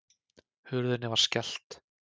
Hurðinni var skellt.